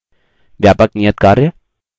व्यापक नियतकार्य